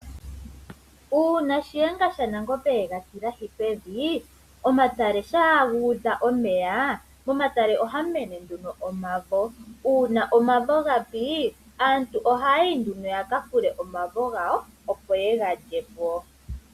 Uuna Shiyenga shaNangombe ega tilahi pevi, omatale shampa gu udha omeya, momatale ohamu mene nduno omavo. Uuna omavo ga pi, aantu ohaya yi nduno yaka fule omavo gawo, opo yega lyepo.